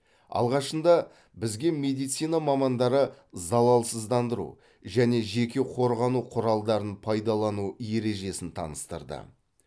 алғашында бізге медицина мамандары залалсыздандыру және жеке қорғану құралдарын пайдалану ережесін таныстырды